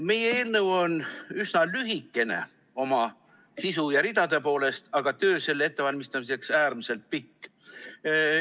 Meie eelnõu on üsna lühikene oma sisu ja ridade poolest, aga töö selle ettevalmistamiseks oli äärmiselt pikk.